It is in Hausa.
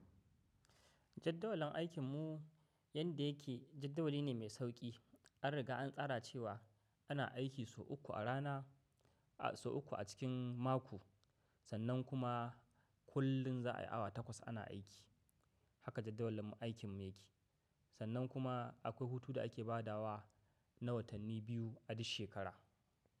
Jaddawalin aikin mu yadda yake jaddawali ne mai sauƙi. An riga an tsara cewa ana aiki sau uku a rana, sau uku a cikin mako. Sannan kuma kullum za a yi awa takwas ana aiki. Haka jaddawalin aikin mu yake. Sannan kuma akwai hutu da ake ba da wa na watanni biyu a duk shekara.